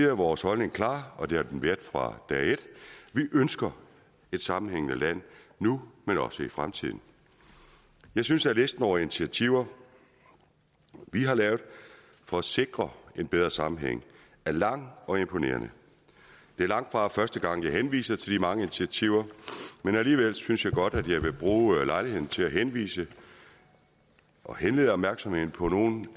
er vores holdning klar og det har den været fra dag et vi ønsker et sammenhængende land nu men også i fremtiden jeg synes at listen over initiativer vi har lavet for at sikre en bedre sammenhæng er lang og imponerende det er langtfra første gang jeg henviser til de mange initiativer men alligevel synes jeg godt at jeg vil bruge lejligheden til at henvise og henlede opmærksomheden på nogle